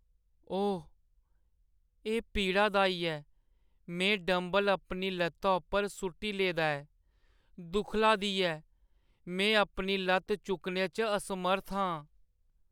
ओह् ! एह् पीड़ादाई ऐ। में डंबल अपनी ल'त्ता उप्पर सु'ट्टी लेदा ऐ, दुक्खला दी ऐ। में अपनी ल'त्त चुक्कने च असमर्थ आं।